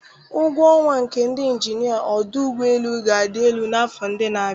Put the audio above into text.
Ụgwọ ọnwa nke ndị injinia ọdụ ụgbọ elu ga-adị elu n'afọ ndị na-abịa